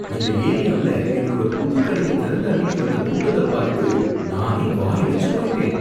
இந்த ஏரியாவுல எங்களோட புது கடைய திறந்த அன்னிக்கு வந்த கூட்டத்த பார்த்து நானே வாயடைச்சு போயிட்டேன்.